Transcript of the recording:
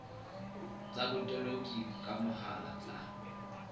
tsa botoloki ka mohala tsa